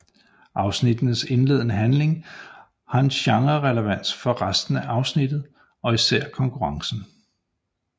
Afsnittenes indledende handling har gerne relevans for resten afsnittet og især konkurrencen